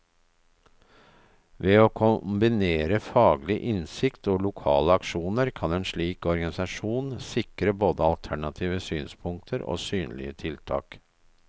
Ved å kombinere faglig innsikt og lokale aksjoner, kan en slik organisasjon sikre både alternative synspunkter og synlige tiltak.